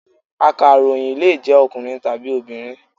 Akàròyìn lè jẹ́ ọkùnrin tàbí obìnrin.